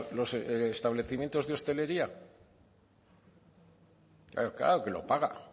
los establecimientos de hostelería claro que lo paga